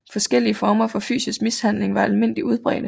Forskellige former for fysisk mishandling var almindeligt udbredte